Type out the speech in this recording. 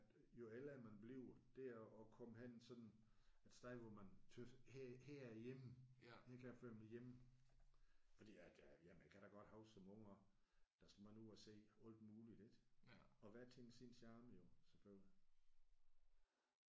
At jo ældre man bliver det at at komme hen sådan et sted hvor man synes her her er jeg hjemme her kan jeg føle mig hjemme fordi at jamen jeg kan da godt huske som ung at der skal man ud og se alt muligt ik? Og hver ting sin charme jo selvfølgelig